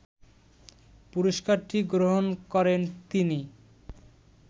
পুরস্কারটি গ্রহণ করেন তিনি